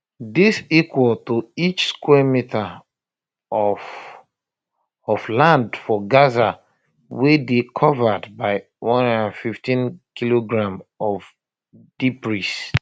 dis equal to each um square meter of um of um land for gaza wey dey covered by 115 kilograms of debris